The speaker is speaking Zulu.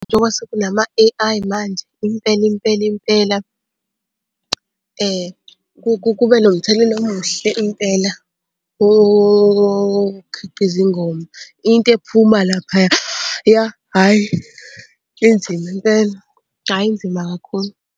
Njengoba sekunama-A_I manje, impela impela impela kube nomthelela omuhle impela okhiqiza ingoma. Into ephuma laphaya hhayi inzima impela, hhayi inzima kakhulu.